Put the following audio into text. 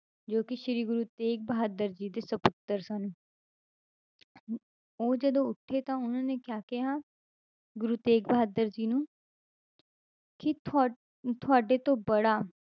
ਜੋ ਕਿ ਸ੍ਰੀ ਗੁਰੂ ਤੇਗ ਬਹਾਦਰ ਜੀ ਦੇ ਸਪੁੱਤਰ ਸਨ ਉਹ ਜਦੋਂ ਉੱਠੇ ਤਾਂ ਉਹਨਾਂ ਨੇ ਕਿਆ ਕਿਹਾ ਗੁਰੂ ਤੇਗ ਬਹਾਦਰ ਜੀ ਨੂੰ ਕਿ ਤੁਹਾ~ ਤੁਹਾਡੇ ਤੋਂ ਬੜਾ,